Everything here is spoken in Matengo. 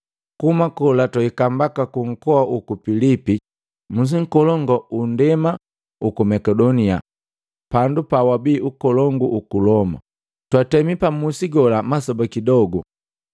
Kuhuma kola twahika mbaka kunkoa uku Pilipi, musi nkolongu uku ndema uku Makedonia pandu pababi mu ukolongu huku Loma. Twatemi pa musi gola masoba kidogu.